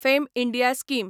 fame India scheme